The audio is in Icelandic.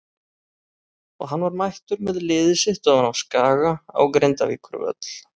Og hann var mættur með liðið sitt ofan af Skaga á Grindavíkurvöll.